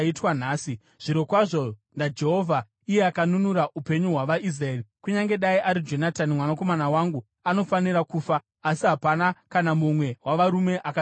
Zvirokwazvo naJehovha, iye akanunura upenyu hwavaIsraeri, kunyange dai ari Jonatani mwanakomana wangu, anofanira kufa.” Asi hapana kana mumwe wavarume akataura shoko.